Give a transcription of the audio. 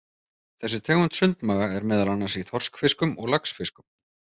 Þessi tegund sundmaga er meðal annars í þorskfiskum og laxfiskum.